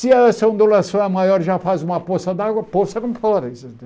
Se essa ondulação é maior, já faz uma poça d'água, poça não.